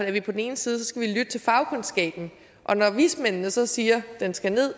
at vi på den ene side skal lytte til fagkundskaben og når vismændene så siger at den skal ned